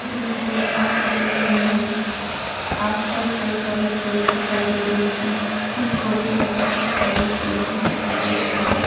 छोटे-छोटे घास उगे हुए हैं आस-पास कई सारे पेड़ दिखाई दे रहे है कुछ छोटे तथा कुछ बड़े पेड़ भी दिखाई दे रहे हैं।